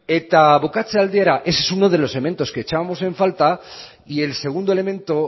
eta bukatze aldera ese es uno de los elementos que echábamos en falta y el segundo elemento